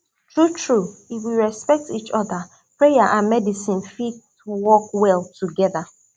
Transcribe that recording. true true if we respect each other prayer and medicine fit work well together